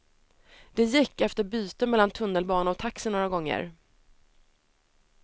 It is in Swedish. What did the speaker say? Det gick efter byte mellan tunnelbana och taxi några gånger.